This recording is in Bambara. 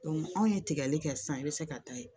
anw ye tigɛli kɛ sisan i bɛ se ka taa yen